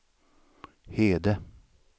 Hede